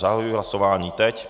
Zahajuji hlasování teď.